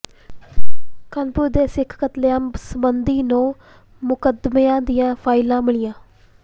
ਕਾਨਪੁਰ ਦੇ ਸਿੱਖ ਕਤਲੇਆਮ ਸਬੰਧੀ ਨੌਂ ਮੁਕੱਦਮਿਆਂ ਦੀਆਂ ਫਾਈਲਾਂ ਮਿਲੀਆਂ